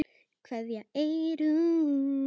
Kveðja, Eyrún.